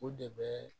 O de bɛ